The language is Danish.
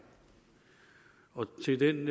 og til den